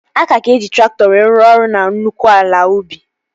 A ka ga-eji traktọ wee rụọ ọrụ na nnukwu ala ubi